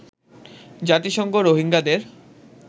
জাতিসংঘ রোহিঙ্গাদের